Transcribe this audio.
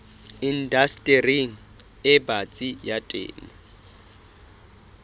indastering e batsi ya temo